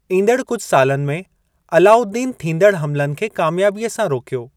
ईंदड़ कुझि सालनि में, अलाउद्दीन थींदड़ हमलनि खे कामयाबीअ सां रोकियो।